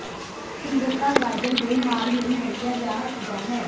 ਸੁੰਦਰਤਾ ਗਾਜਰ ਦੇ ਹਾਰ ਲਈ ਵਰਤਿਆ ਜਾ ਸਕਦਾ ਹੈ